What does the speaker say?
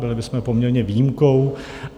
Byli bychom poměrně výjimkou.